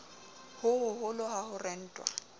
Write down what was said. ho hoholo ha ho rentwa